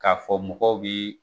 K'a fɔ mɔgɔ bi